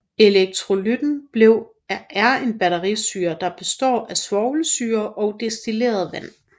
Elektrolytten er en batterisyre der består af svovlsyre og destilleret vand